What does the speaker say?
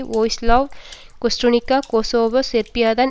Vojislav Kostunica Kosovo சேர்பியாதான்